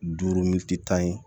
Duuru tan ye